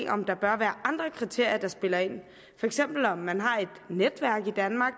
om der bør være andre kriterier der spiller ind for eksempel om man har et netværk i danmark